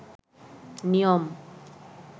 নিয়ম